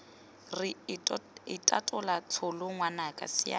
re itatola tsholo ngwanaka siana